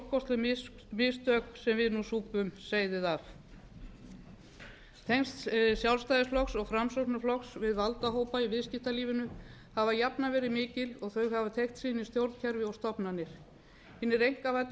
mistök sem við nú súpum seyðið af tengsl sjálfstæðisflokks og framsóknarflokks við valdahópa í viðskiptalífinu hafa jafnan verið mikil og þau hafa teygt sig inn í stjórnkerfi og stofnanir hinir einkavæddu